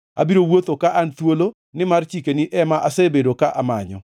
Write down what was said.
Abiro wuotho ka an thuolo, nimar chikeni ema asebedo ka amanyo.